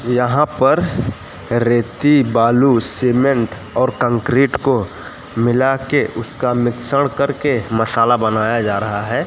यहां पर रेती बालू सीमेंट और कंक्रीट को मिला के उसका मिश्रण करके मसाला बनाया जा रहा है।